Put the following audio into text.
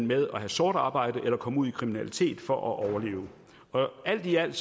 med at have sort arbejde eller at komme ud i kriminalitet for at overleve alt i alt